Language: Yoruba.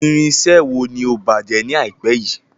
Irinṣẹ́ wo ni ó bàjẹ́ ni àìpé yìí?